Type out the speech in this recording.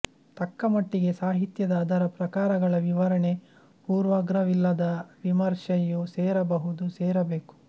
ತಕ್ಕ ಮಟ್ಟಿಗೆ ಸಾಹಿತ್ಯದ ಅದರ ಪ್ರಕಾರಗಳ ವಿವರಣೆ ಪೂರ್ವಾಗ್ರವಿಲ್ಲದ ವಿಮರ್ಶೆಯೂ ಸೇರಬಹದು ಸೇರಬೇಕು